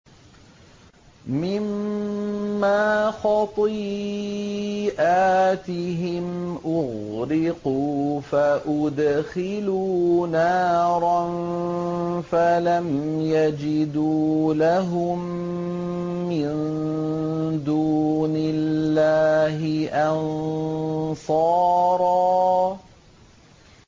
مِّمَّا خَطِيئَاتِهِمْ أُغْرِقُوا فَأُدْخِلُوا نَارًا فَلَمْ يَجِدُوا لَهُم مِّن دُونِ اللَّهِ أَنصَارًا